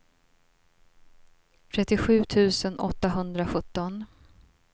trettiosju tusen åttahundrasjutton